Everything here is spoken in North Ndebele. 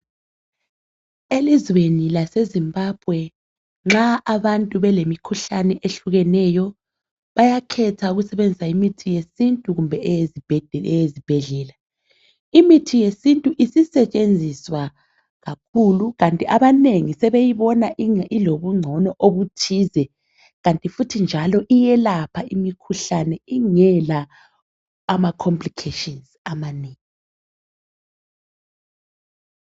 Elizweni lase zimbabwe nxa abantu belemikhuhlane ehlukeneyo bayakhetha ukusebenzisa imithi eyesintu kumbe eyezibhedlelela. Imithi yesintu isisetshenziswa kakhulu kanti abanengi sebeyibona ilobungcono obuthize kanti futhi njalo iyelapha imikhuhlane ingela amacomplications amanengi.